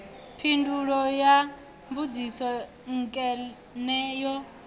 phindulo ya mbudziso nkene no